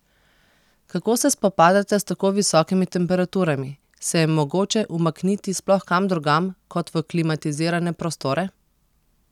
Kako se spopadate s tako visokimi temperaturami, se je mogoče umakniti sploh kam drugam kot v klimatizirane prostore?